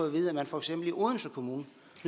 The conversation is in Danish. at vide at man for eksempel i odense kommune